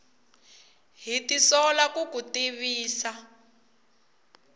ha tisola ku ku tivisa